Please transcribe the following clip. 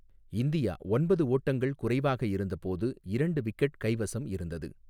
India ஒன்பது ஓட்டங்கள் குறைவாக இருந்தபோது இரண்டு விக்கெட் கைவசம் இருந்தது.